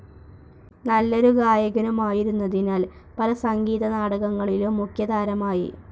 നല്ലൊരു ഗായകനുമായിരുന്നതിനാൽ പല സംഗീത നാടകങ്ങളിലും മുഖ്യതാരമായി.